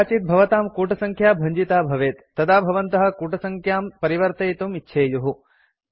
कदाचित् भवतां कूटसङ्ख्या भञ्जिता भवेत् तदा भवन्तः कूटसङ्ख्यां परिवर्तयितुं इच्छेयुः